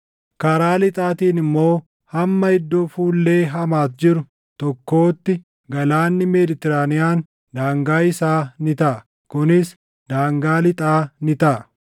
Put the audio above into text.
Karaa lixaatiin immoo hamma iddoo fuullee Hamaati jiru tokkootti Galaanni Meeditiraaniyaan daangaa isaa ni taʼa. Kunis daangaa lixaa ni taʼa.